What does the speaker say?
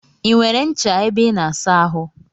I nwere ncha ebe I na asa ahụ?